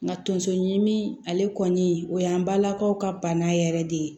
Nka tonso ɲimi ale kɔni o y'an balakaw ka bana yɛrɛ de ye